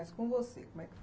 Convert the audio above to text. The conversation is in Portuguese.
Mas com você, como é que foi?